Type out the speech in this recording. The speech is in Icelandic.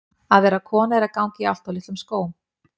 Að vera kona er að ganga í of litlum skóm.